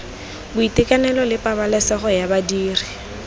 boitekanelo le pabalesego ya badiri